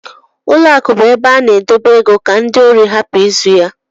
Ụlọ akụ bú ebe a na edebe ego ka ndị órí rapu ịzụ ya.